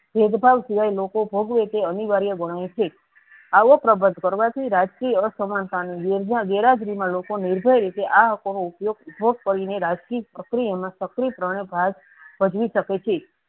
ભેદ ભાવ સિવાય લોકો ભોગવે તે અનિવાર્ય ગણાય છે આવો પ્રબંધ કરવાથી રાજકીય અસમાનતાની ગેરહાજરીમાં લોકો નિર્ભય રીતે આ હકો ઉપયોગ કરીને રાજકીકે પ્રક્રિયામાં પ્રમાણે ભાગ ભજવી શકે છે.